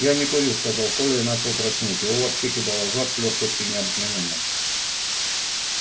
я не курю сказал коля и начал краснеть его вообще кидало в жар с лёгкостью необыкновенной